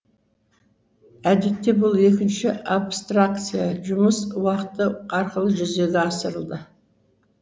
әдетте бұл екінші абстракция жұмыс уақыты арқылы жүзеге асырылды